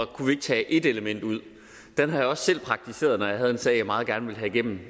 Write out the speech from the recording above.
kunne tage et element ud den har jeg også selv praktiseret når jeg havde en sag jeg meget gerne ville have igennem